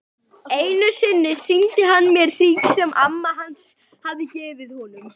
Einu sinni sýndi hann mér hring sem amma hans hafði gefið honum.